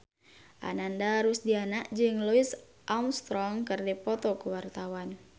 Ananda Rusdiana jeung Louis Armstrong keur dipoto ku wartawan